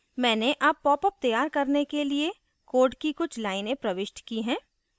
मैंने अब popअप तैयार करने के लिए code की कुछ लाइनें प्रविष्ट की हैं